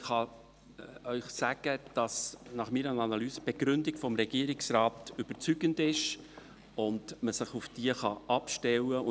Ich kann Ihnen sagen, dass nach meiner Analyse die Begründung des Regierungsrates überzeugend ist und man sich auf diese stützen kann.